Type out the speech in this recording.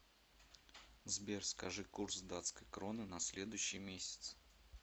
сбер скажи курс датской кроны на следующий месяц